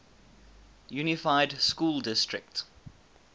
unified school district